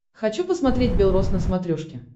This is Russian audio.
хочу посмотреть белрос на смотрешке